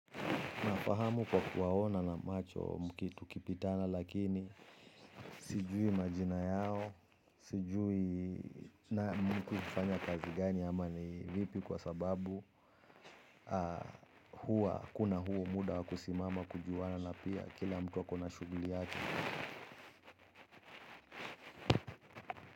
Unafahamu kwa kuwaona na macho mkitu kipitana lakini sijui majina yao, sijui na mkuu kufanya kazi gani ama ni vipi kwa sababu kuna huo muda wa kusimama kujuwana na pia kila mtu ako na shuguli yake.